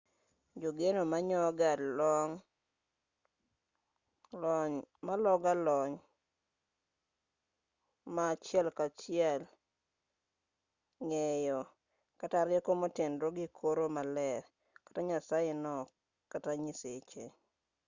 jogeno manyoga lony ma achiel kachiel ng'eyo kata rieko motenore gi koro maler/nyasaye no kata nyiseche